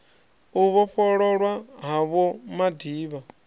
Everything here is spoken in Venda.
u vhofhololwa ha vho madiba